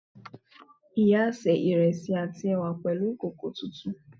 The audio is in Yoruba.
Ìyá sé ìrẹsì àti ẹ̀wà pẹ̀lú ìkòkò tuntun